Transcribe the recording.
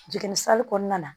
Jiginni kɔnɔna na